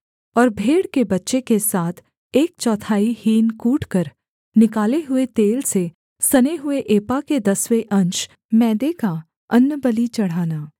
और भेड़ के बच्चे के साथ एक चौथाई हीन कूटकर निकाले हुए तेल से सने हुए एपा के दसवें अंश मैदे का अन्नबलि चढ़ाना